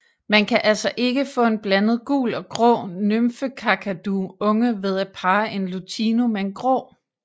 Man kan altså ikke få en blandet gul og grå Nymfekakadu unge ved at parre en Lutino med en Grå